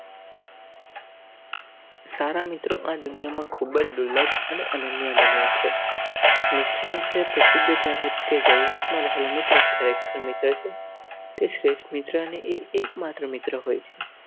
સારા મિત્રો આદુનિયામાં ખૂબ જ દુર્લભ અને અનન્ય બન્યા છે. મિત્ર વિષે પ્રસિદ્ધ કહેવત કે જરૂરિયાતમાં રહેલો મિત્ર કાર્યક્રમ શ્રેષ્ઠ મિત્રને એકમાત્ર મિત્ર હોય છે.